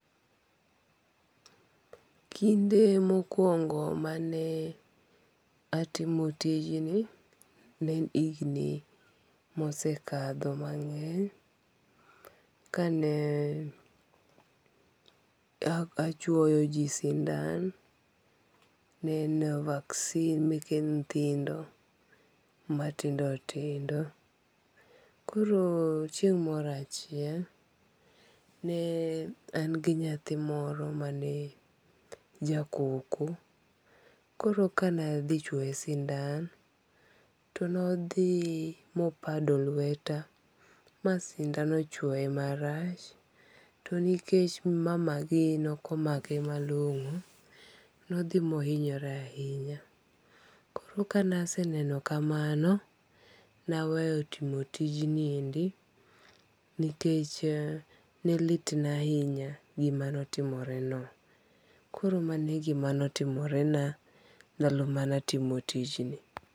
Kinde mokwongo mane atimo tijni, ne en higni mosekadho mang'eny. Kane achwoyo ji sindan ne en vaccine meke nyithindo matindo tindo. Koro chieng' moro achiel ne an gi nyathi moro mane jakoko. Koro kane adhi chwoye sindan to nodhi mopado lweta. Ma sindan ochwoye marach. To nikech mama gi nokomake malong'o, nidhi mohinyore ahinya. Koro ka ne aseneno kamano, ne aweyo timo tijni endi. Nikech ne lit na ahinya gima notimoreno. Koro mano e gima notimorena ndalo mane atimo tijni.